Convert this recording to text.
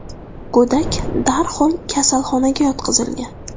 Go‘dak darhol kasalxonaga yotqizilgan.